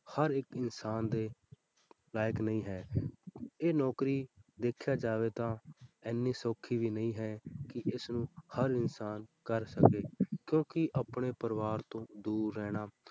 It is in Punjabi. ਹਰ ਇੱਕ ਇਨਸਾਨ ਦੇ ਲਾਇਕ ਨਹੀਂ ਹੈ ਇਹ ਨੌਕਰੀ ਦੇਖਿਆ ਜਾਵੇ ਤਾਂ ਇੰਨੀ ਸੌਖੀ ਵੀ ਨਹੀਂ ਹੈ ਕਿ ਇਸਨੂੰ ਹਰ ਇਨਸਾਨ ਕਰ ਸਕੇ ਕਿਉਂਕਿ ਆਪਣੇ ਪਰਿਵਾਰ ਤੋਂ ਦੂਰ ਰਹਿਣਾ